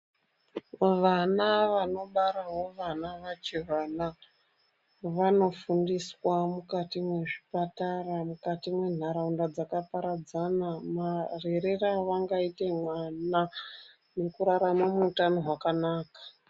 Vana vanobarawo vana vachivana vana vanofundiswa mukati mwezvipatara mukati mwenharaunda dzakaparadzana marerere avangaita mwana nekurarama muutano hwakanaka.